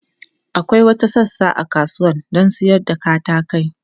Akwai wata sassa a kasuwa don sayar da katakai.